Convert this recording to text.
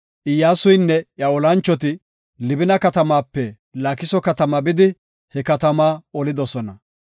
Iyyasuynne iya olanchoti Libina katamaape Laakiso katama bidi, he katama olidosona.